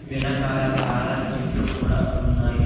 వెనకాల చాలా చెట్లు కూడా ఉన్నాయి.